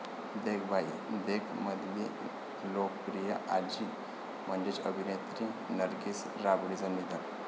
देख भाई देख'मधली लोकप्रिय आजी म्हणजेच अभिनेत्री नर्गिस राबडींचं निधन